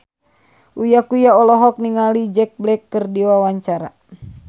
Uya Kuya olohok ningali Jack Black keur diwawancara